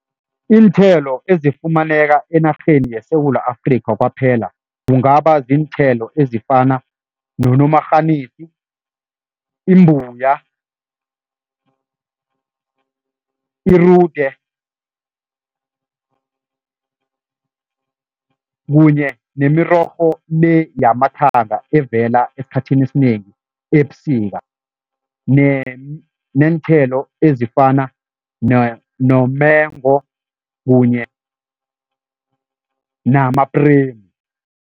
Iinthelo ezifumaneka enarheni yeSewula Afrika kwaphela, kungaba ziinthelo ezifana nonomarhanisi, imbuya, irude kunye nemirorho-le yamathanga evela esikhathini esinengi ebusika neenthelo ezifana nomengo kunye namapremu.